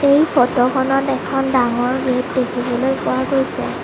এই ফটো খনত এখন ডাঙৰ গেট দেখিবলৈ পোৱা গৈছে।